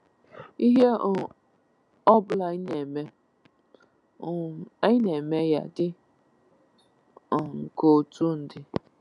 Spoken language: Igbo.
Ihe ọ um ọbụla anyị na-eme, um anyị na-eme ya dị um ka otu ndị.